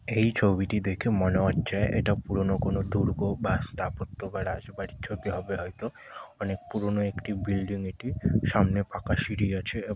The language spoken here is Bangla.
এই ছবিটি দেখে মনে হচ্ছে এটা পুরনো কোন দুর্গ বা স্থাপত্য বা রাজবাড়ির ছবি হবে হয়তো অনেক পুরনো একটি বিল্ডিং এটি সামনে ফাঁকা সিঁড়ি আছে।